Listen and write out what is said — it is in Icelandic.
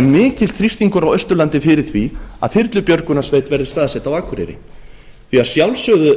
mikill þrýstingur á austurlandi fyrir því að þyrlubjörgunarsveit verði staðsett á akureyri að sjálfsögðu